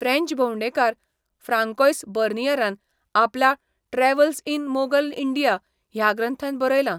French भोंवडेकार Francois बर्नियरान आपल्या 'ट्रॅव्हल्स इन मोगल इंडिया' ह्या ग्रंथांत बरयलां